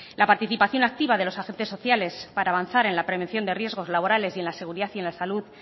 la participación activa de los agentes sociales para avanzar en la prevención de riesgos laborales y en la seguridad y en la salud